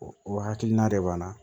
O o hakilina de b'an na